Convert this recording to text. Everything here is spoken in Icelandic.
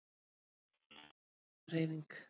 Við vorum ekki stjórnmálahreyfing.